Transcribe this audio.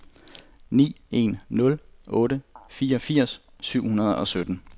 ni en nul otte femogfirs syv hundrede og sytten